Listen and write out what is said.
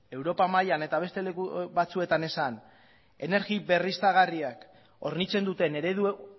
europa mailan eta beste leku batzuetan esan energia berriztagarriak hornitzen duten eredu